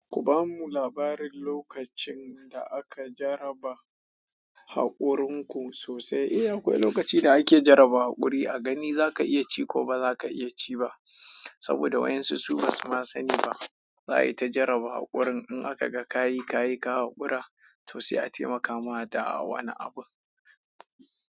Ku bamu labarin lokacin da aka jaraba haƙurin ku sosai. Eh akwai lokacin da ake jarabawa haƙuri a gani zaka iya ci ko ba zaka iya ci ba. Saboda wayan su su basu ma sani ba. Za a yi ta jarabawa haƙurin in aka ga ka yi ka yi ka haƙura to sai a taimaka ma da a wani abu.